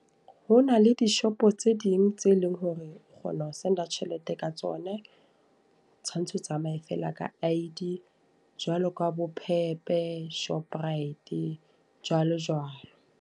Ho na le dishopo tse ding tse leng hore o kgona ho send tjhelete ka tsone. Tshwantse o tsamaye fela ka I_D. Jwalo ka bo Pep, Shoprite jwalo jwalo.